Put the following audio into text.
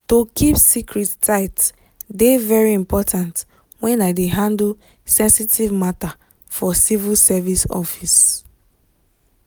to keep secret tight dey very important when i dey handle sensitive matter for civil service office.